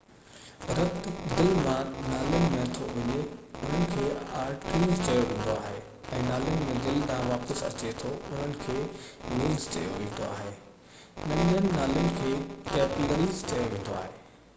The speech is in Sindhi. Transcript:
رت دل مان نالين ۾ ٿو وڃي انهن کي آرٽريز چيو ويندو آهي ۽ نالين ۾ دل ڏانهن واپس اچي ٿو انهن کي وينز چيو ويندو آهي ننڍين نالين کي ڪيپلريز چيو ويندو آهي